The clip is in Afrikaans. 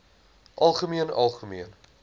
algemeen algemeen